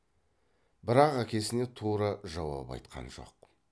бірақ әкесіне тура жауап айтқан жоқ